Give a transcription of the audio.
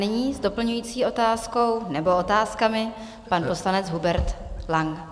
Nyní s doplňující otázkou nebo otázkami pan poslanec Hubert Lang.